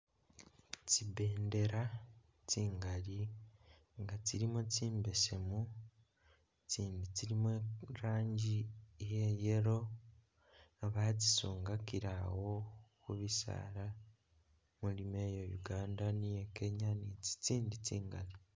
Tsibendela tsingali nga tsilimo tsi mbeseemu itsindi tsilimo iranji iya yellow nga batsisungakile awo khubisaala ,mulimo iya Uganda ni iya Kenya ni tsitsindi tsingali.